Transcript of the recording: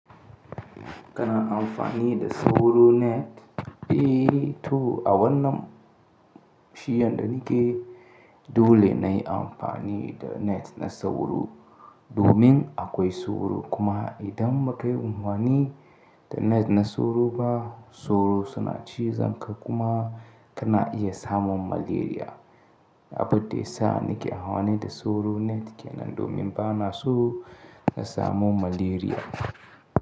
Kana amfani da sauro net? Eh to a wannan shiyan da nike dole na yi amfani da net na sauro domin akwai sauro. Kuma idan ba ka yi amfani da net na sauro ba sauro suna cizon ka kuma kana iya samun malaria. Abun da ya sa nike amfani da sauro net kenan domin ba na so na samu malaria.